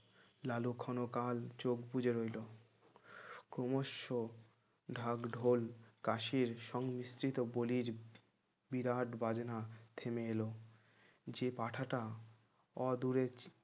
লালু ক্ষণকাল চোখ বুজে রইল ক্রমশ ঢাকঢোল কাশির সংমিশ্রিত বলির বিরাট বাজনা থেমে এলো যে পাঁঠাটা অ দূরে